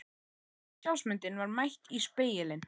Gamla sjálfsmyndin var mætt í spegilinn.